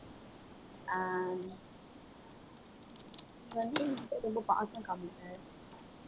ஆஹ் நீ வந்து எங்கிட்ட ரொம்ப பாசம் காமிப்ப